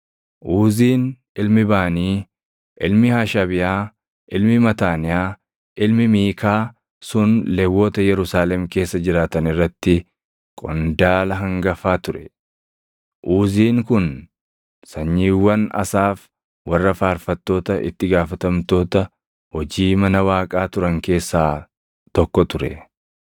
Uuziin ilmi Baanii, ilmi Hashabiyaa, ilmi Mataaniyaa, ilmi Miikaa sun Lewwota Yerusaalem keessa jiraatan irratti qondaala hangafa ture. Uuziin kun sanyiiwwan Asaaf warra faarfattoota itti gaafatamtoota hojii mana Waaqaa turan keessaa tokko ture.